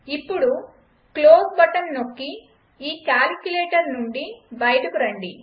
ఇప్పుడు close button నొక్కి ఈకాలిక్యులేటర్ నుండి బయటకు రండి